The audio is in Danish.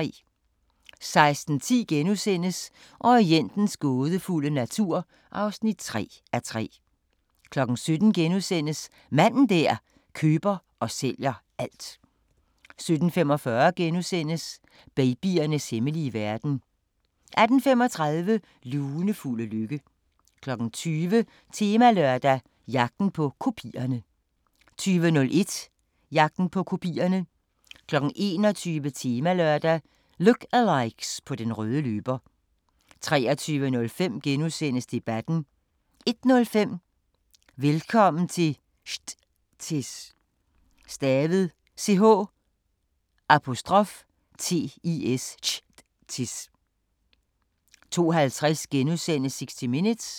16:10: Orientens gådefulde natur (3:3)* 17:00: Manden der køber og sælger alt * 17:45: Babyernes hemmelige verden * 18:35: Lunefulde lykke 20:00: Temalørdag: Jagten på kopierne 20:01: Jagten på kopierne 21:00: Temalørdag: Look alikes på den røde løber 23:05: Debatten * 01:05: Velkommen til Ch'tis 02:50: 60 Minutes *